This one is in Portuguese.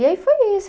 E aí foi isso.